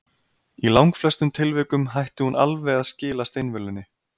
Í langflestum tilvikum hætti hún alveg að skila steinvölunni.